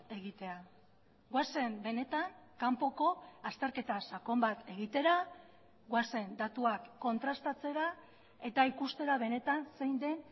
egitea goazen benetan kanpoko azterketa sakon bat egitera goazen datuak kontrastatzera eta ikustera benetan zein den